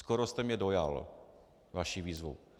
Skoro jste mě dojal vaší výzvou.